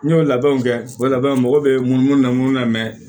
N y'o labɛnw kɛ o labɛn mɔgɔw bɛ munumunu na